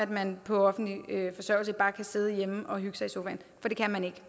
man på offentlig forsørgelse bare kan sidde hjemme og hygge sig i sofaen for det kan man ikke